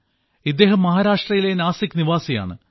ഇദ്ദേഹം മഹാരാഷ്ട്രയിലെ നാസിക് നിവാസിയാണ്